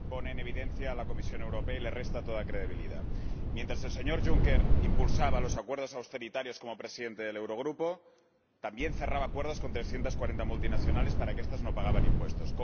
Señora Presidenta, esta situación pone en evidencia a la Comisión Europea y le resta toda credibilidad. Mientras el señor Juncker impulsaba los acuerdos austeritarios como presidente del Eurogrupo, también cerraba acuerdos con 340 multinacionales para que estas no pagaran impuestos.